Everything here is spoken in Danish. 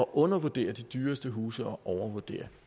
undervurdere de dyreste huse og overvurdere